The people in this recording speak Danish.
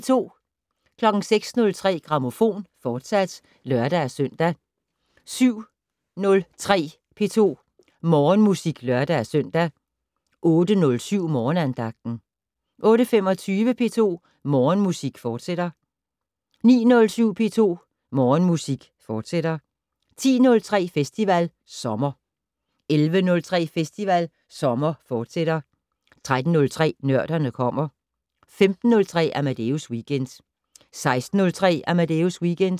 06:03: Grammofon, fortsat (lør-søn) 07:03: P2 Morgenmusik (lør-søn) 08:07: Morgenandagten 08:25: P2 Morgenmusik, fortsat 09:07: P2 Morgenmusik, fortsat 10:03: Festival Sommer 11:03: Festival Sommer, fortsat 13:03: Nørderne kommer 15:03: Amadeus Weekend 16:03: Amadeus Weekend